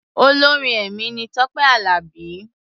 Olórin ẹ̀mí ni Tọ́pé Àlàbí.